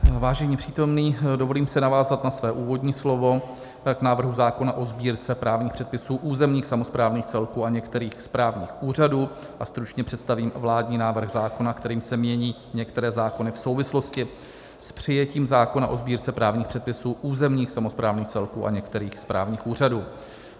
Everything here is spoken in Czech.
Vážení přítomní, dovolím si navázat na své úvodní slovo k návrhu zákona o Sbírce právních předpisů územních samosprávných celků a některých správních úřadů a stručně představím vládní návrh zákona, kterým se mění některé zákony v souvislosti s přijetím zákona o Sbírce právních předpisů územních samosprávných celků a některých správních úřadů.